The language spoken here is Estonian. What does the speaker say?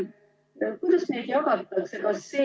Kuidas neid jagatakse?